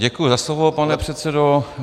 Děkuji za slovo, pane předsedo.